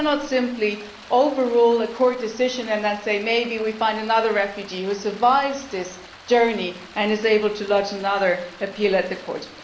We cannot simply overrule a Court decision and then say maybe we can find another refugee who has survived this journey and is able to lodge an appeal at the Court.